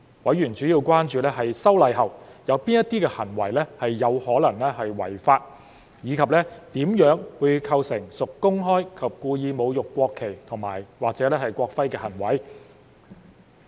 委員主要關注在修例後，有哪些行為是有可能違法，以及怎樣會構成屬公開及故意侮辱國旗或國徽的行為。